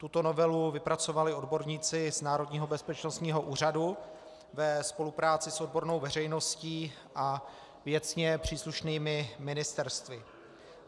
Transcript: Tuto novelu vypracovali odborníci z Národního bezpečnostního úřadu ve spolupráci s odbornou veřejností a věcně příslušnými ministerstvy.